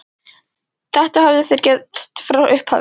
Þetta höfðu þeir gert frá upphafi